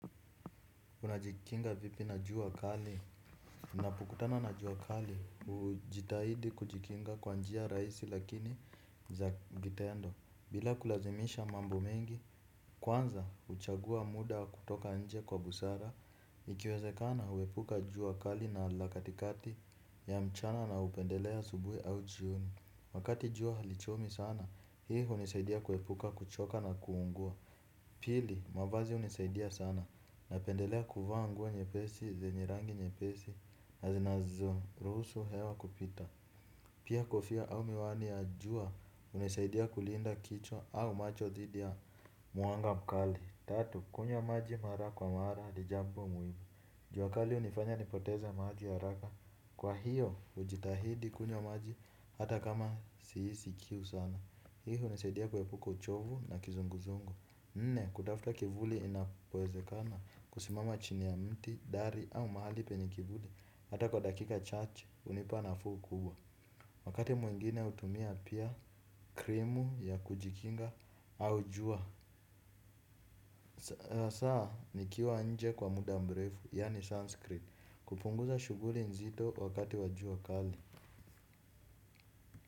Unajikinga vipi na juua kali napokutana na juua kali. Ujitahidi kujikinga kwa njia raisi lakini za gitendo. Bila kulazimisha mambo mengi. Kwanza uchagua muda kutoka nje kwa busara. Ikiwezekana uepuka juua kali na lakatikati ya mchana naupendelea asubui au jioni wakati juua halichomi sana, hii unisaidia kuepuka kuchoka na kuungua. Pili, mavazi unisaidia sana. Napendelea kufaa nguo nyepesi, zenye rangi nyepesi, na zinazorusu hewa kupita. Pia kofia au miwani ya jua, unesaidia kulinda kichwa au macho dhidi ya muanga mkali. Tatu, kunywa maji mara kwa mara adijambo muwimu. Juwakali unifanya nipoteze maji haraka. Kwa hiyo, ujitahidi kunywa maji hata kama siisi kiu sana. Hii unesaidia kwepuka uchovu na kizunguzungu. Nne kutafuta kivuli inapowezekana kusimama chini ya mti, dari au mahali penye kivuli hata kwa dakika chache unipa nafuu kubwa. Wakati mwingine utumia pia krimu ya kujikinga au jua. Saa nikiwa nje kwa muda mrefu yaani sunscreen kupunguza shughuli nzito wakati wa jua kali.